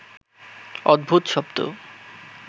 অদ্ভুত শব্দ